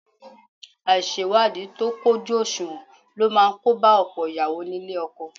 Àìṣèwádìí tó kójú òṣùwọ̀n ló máa kóba ọ̀pọ̀ ìyàwó nílé ọkọ